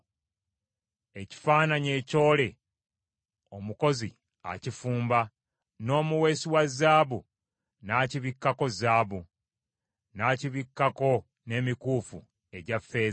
Ekifaananyi ekyole omukozi akifumba, n’omuweesi wa zaabu n’akibikkako zaabu, n’akibikkako n’emikuufu egya ffeeza.